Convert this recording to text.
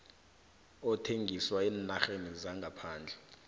ethengiswa eenarheni zangaphandle